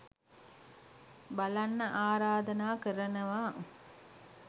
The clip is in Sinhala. බලන්න ආරධනා කරනවා.